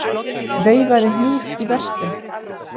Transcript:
Veifaði hníf í verslun